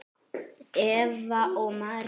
Eva og María.